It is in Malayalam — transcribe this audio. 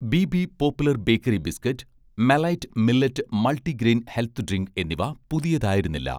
ബിബി' പോപ്പുലർ ബേക്കറി ബിസ്കറ്റ്, 'മെലൈറ്റ്' മില്ലറ്റ് മൾട്ടിഗ്രെയിൻ ഹെൽത്ത് ഡ്രിങ്ക് എന്നിവ പുതിയതായിരുന്നില്ല